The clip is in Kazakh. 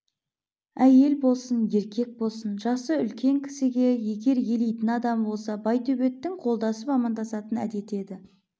әйел болсын еркек болсын жасы үлкен кісіге егер елейтін адамы болса байтөбеттің қолдасып амандасатын әдеті еді